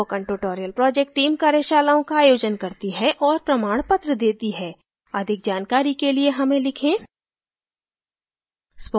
spoken tutorial project team कार्यशालाओं का आयोजन करती है और प्रमाणपत्र देती है अधिक जानकारी के लिए हमें लिखें